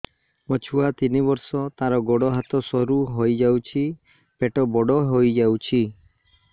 ମୋ ଛୁଆ ତିନି ବର୍ଷ ତାର ଗୋଡ ହାତ ସରୁ ହୋଇଯାଉଛି ପେଟ ବଡ ହୋଇ ଯାଉଛି